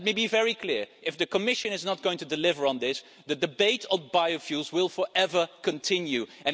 Let me be very clear if the Commission is not going to deliver on this, the debate on biofuels will continue forever.